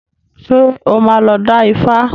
Ṣé o máa lọ dá Ifá?